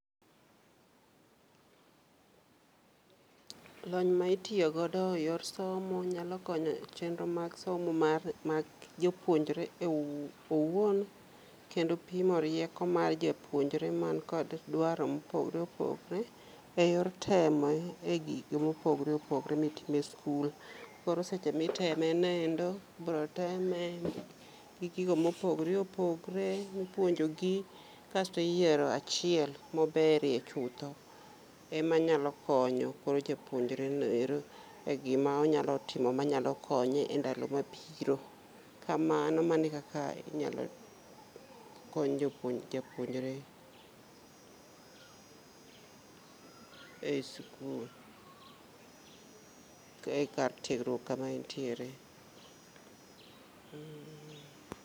Lony ma itiyo godo eyor somo nyalo konyo echenro mag somo mar mag jopuonjre ewuo owuon kendo pimo rieko mar japuojre man kod dwaro mopogre opogre , eyor temo egig mopogre opogre mitimo school. Koro seche miteme noendo ibiro teme gi gigo mopogore opogore mipuonjogi kasto iyiero achiel maberie chutho, ema nyalo konyo koro japuonjre noero egima onyalo timo manyalo konye endalo mabiro , kamano mano ekaka inyalo kony jopuony japuonjre e [school. e kar tiegruok kama entiere. mmh.